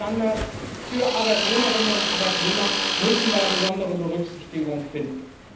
Gerade die Standards für Arbeitnehmerinnen und Arbeitnehmer müssen da besondere Berücksichtigung finden.